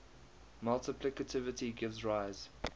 multiplicativity gives rise